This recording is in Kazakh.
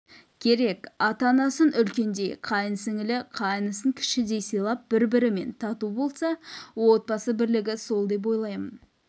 керек ата-анасын үлкендей қайын сіңлі-қайнысын кішідей сыйлап бір-бірімен тату болса отбасы бірлігі сол деп ойлаймын